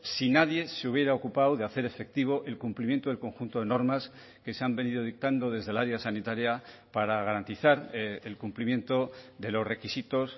si nadie se hubiera ocupado de hacer efectivo el cumplimiento del conjunto de normas que se han venido dictando desde el área sanitaria para garantizar el cumplimiento de los requisitos